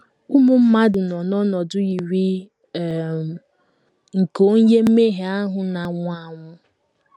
Ụmụ mmadụ nọ n’ọnọdụ yiri um nke onye mmehie ahụ na - anwụ anwụ.